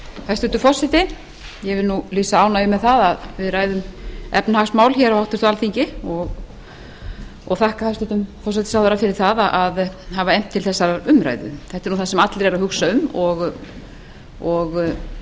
hæstvirtur forseti ég vil lýsa ánægju með það að við ræðum efnahagsmál á háttvirtu alþingi og þakka hæstvirtum forsætisráðherra fyrir það að hafa efnt til þessarar umræðu þetta er það sem allir eru að hugsa um og